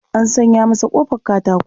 An sanya masa ƙofar katato.